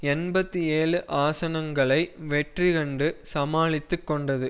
எண்பத்தி ஏழு ஆசனங்களை வெற்றி கண்டு சமாளித்து கொண்டது